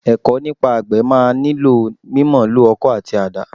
Ẹ̀kọ́ nípa àgbẹ̀ máa nílò mímọ̀ǹlò ọkọ́ àti àdá.